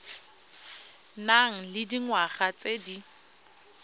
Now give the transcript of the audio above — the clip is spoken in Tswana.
nang le dingwaga tse di